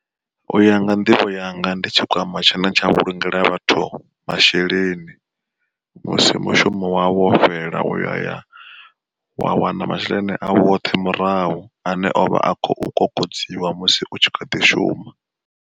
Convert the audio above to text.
Uya nga nḓivho yanga ndi tshikwama tshine tsha vhulungela vhathu masheleni, musi mushumo wavho wo fhela uya wa wana masheleni au oṱhe murahu ane o vha a khou kokodziwa musi u tshi kha ḓi shuma.